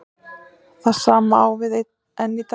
Það sama á við enn í dag.